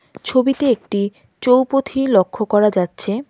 ছবিতে একটি চৌপথি লক্ষ্য করা যাচ্ছে.